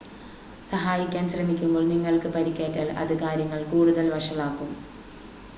സഹായിക്കാൻ ശ്രമിക്കുമ്പോൾ നിങ്ങൾക്ക് പരിക്കേറ്റാൽ അത് കാര്യങ്ങൾ കൂടുതൽ വഷളാക്കും